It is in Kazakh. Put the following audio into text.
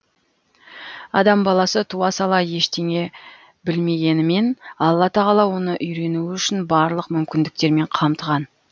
адам баласы туа сала ештеңе білмегенімен алла тағала оны үйренуі үшін барлық мүмкіндіктермен қамтыған